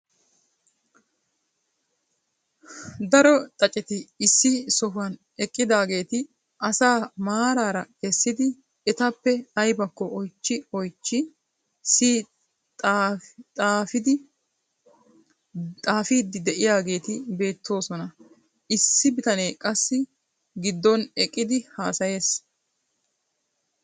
Daro xaaceti issi sohuwan eqqidaageeti asaa maraara essidi etappe aybakko oychchi oychchi siyi xaafiiddi de'iyageeti beettoosona. issi bitanee qassi giddon eqqidi hasayees.